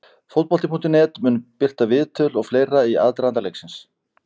Fótbolti.net mun birta viðtöl og fleira í aðdraganda leiksins.